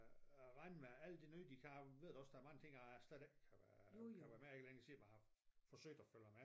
Regner med alt det nye de kan jeg ved da også der er mange ting jeg slet ikke øh kan være med ikke længe siden jeg har forsøgt at følge med